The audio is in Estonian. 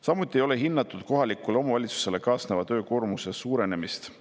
Samuti ei ole hinnatud kohalikule omavalitsusele kaasneva töökoormuse suurenemist.